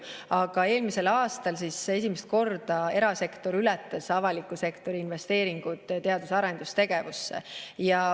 Aga eelmisel aastal ületasid esimest korda erasektori investeeringud avaliku sektori investeeringuid teadus- ja arendustegevusse.